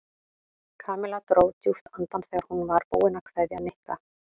Kamilla dró djúpt andann þegar hún var búin að kveðja Nikka.